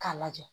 K'a lajɛ